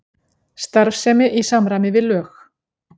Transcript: Starfsemi í samræmi við lög